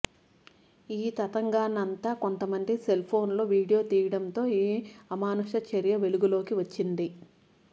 ఈ తతంగాన్నంతా కొంతమంది సెల్ఫోన్లో వీడియో తీయడంతో ఈ అమానుష చర్య వెలుగులోకి వచ్చింది